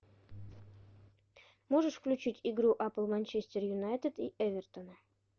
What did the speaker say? можешь включить игру апл манчестер юнайтед и эвертона